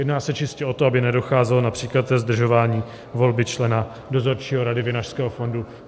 Jedná se čistě o to, aby nedocházelo například ke zdržování volby člena dozorčího Rady Vinařského fondu.